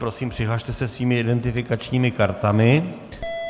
Prosím, přihlaste se svými identifikačními kartami.